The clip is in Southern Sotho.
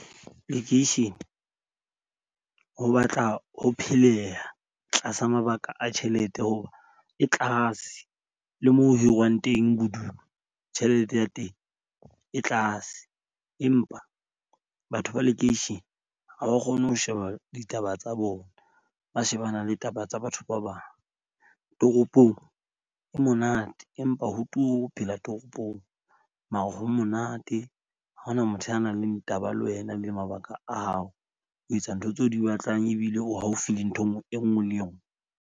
Lekeishene ho batla ho pheleha tlasa mabaka a tjhelete hoba e tlase le moo ho hiriwang teng bodulo tjhelete ya teng e tlase. Empa batho ba lekeishene ha ba kgone ho sheba ditaba tsa bona, ba shebana le taba tsa batho ba bang. Toropong ho monate, empa ho turu ho phela toropong mare ho monate. Ha hona motho a nang leng taba le wena le mabaka a hao, o etsa ntho tseo o di batlang, ebile o haufi le ntho e nngwe le enngwe.